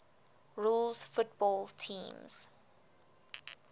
rules football teams